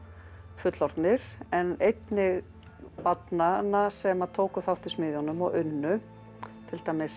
fullorðnir en einnig barnanna sem tóku þátt í smiðjunum og unnu til dæmis